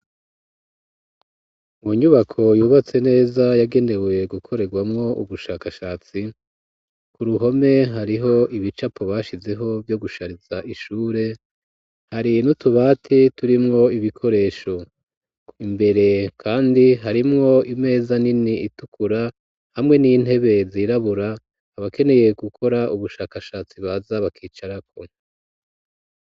Mu nyubako, yubatse neza, yagenewe gukorerwamwo, ubushakashatsi, ku ruhome, hariho ibicapo bashizeho, vyo gushariza, ishure; hari n'utubati, turimwo ibikoresho; imbere kandi, harimwo imeza nini, itukura, hamwe n'intebe, zirabura, abakeneye gukora, ubushakashatsi, baza bakicarako.